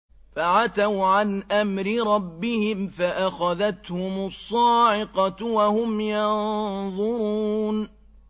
فَعَتَوْا عَنْ أَمْرِ رَبِّهِمْ فَأَخَذَتْهُمُ الصَّاعِقَةُ وَهُمْ يَنظُرُونَ